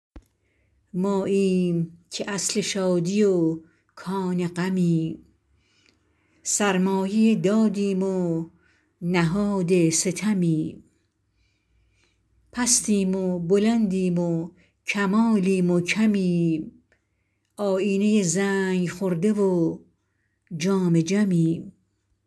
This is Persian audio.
ماییم که اصل شادی و کان غمیم سرمایه دادیم و نهاد ستمیم پستیم و بلندیم و کمالیم و کمیم آیینه زنگ خورده و جام جمیم